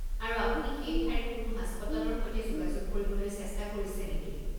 আৰু আপুনি সেই ঠাইৰ কোনো হাস্পতালৰ সৈতে যোগাযোগ কৰিবলৈ চেষ্টা কৰিছে নেকি?